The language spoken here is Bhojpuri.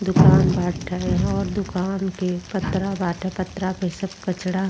दुकान बाट हय। यहाँ अब दुकान के पत्रा बाटे। पत्रा के सब कचड़ा --